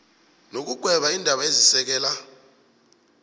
nokugweba iindaba ezisekela